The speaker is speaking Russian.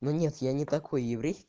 ну нет я не такой еврей